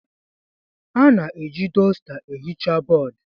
A na-eji dọsta ehicha bọọdụ.